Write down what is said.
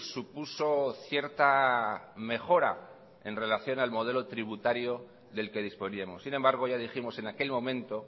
supuso cierta mejora en relación al modelo tributario del que disponíamos sin embargo ya dijimos en aquel momento